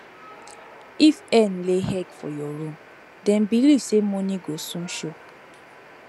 if hen lay egg for your room dem believe say money go soon show